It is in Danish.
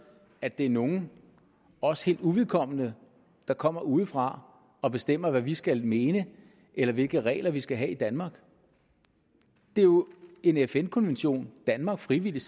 at det er nogen os helt uvedkommende der kommer udefra og bestemmer hvad vi skal mene eller hvilke regler vi skal have i danmark det er jo en fn konvention danmark frivilligt